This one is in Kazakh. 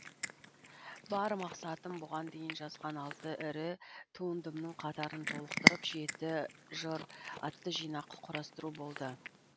бар мақсатым бұған дейін жазған алты ірі туындымның қатарын толықтырып жеті жыр атты жинақ құрастыру болды